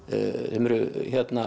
eru